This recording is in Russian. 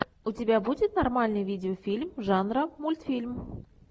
у тебя будет нормальный видеофильм жанра мультфильм